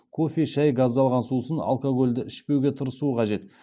кофе шай газдалған сусын алкогольді ішпеуге тырысу қажет